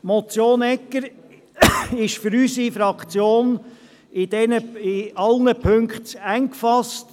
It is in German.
Die Motion Egger ist für unsere Fraktion in allen Punkten zu eng gefasst.